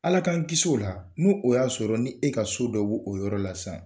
Ala k'an kisi o la nu o y'a sɔrɔ ni e ka so dɔ b'o o yɔrɔ la sisan.